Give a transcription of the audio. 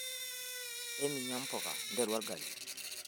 eninya mpuka nteru orgali